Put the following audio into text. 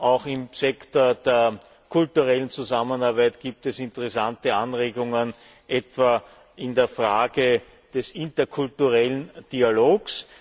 Auch im Sektor der kulturellen Zusammenarbeit gibt es interessante Anregungen, etwa in der Frage des interkulturellen Dialogs.